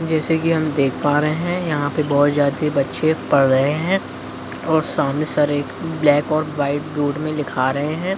जैसे कि हम देख पा रहे है यहाँ पे बहुत सारे बच्चे पढ़ रहे हैं और सामने सर एक ब्लैक और वाइट बोर्ड में लिखा रहे हैं।